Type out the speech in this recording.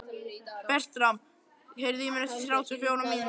Bertram, heyrðu í mér eftir þrjátíu og fjórar mínútur.